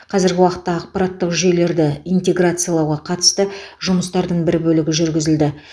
қазіргі уақытта ақпараттық жүйелерді интеграциялауға қатысты жұмыстардың бір бөлігі жүргізілді